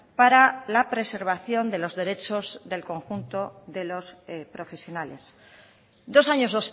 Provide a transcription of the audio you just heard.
para la preservación de los derechos del conjunto de los profesionales dos años